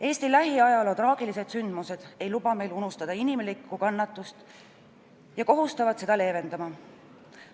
Eesti lähiajaloo traagilised sündmused ei luba meil unustada inimlikku kannatust ja kohustavad seda leevendama.